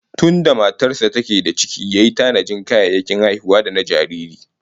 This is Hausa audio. Tunda matar sa take da ciki yayi ta tanajin kayayyakin haihuwa da na jariri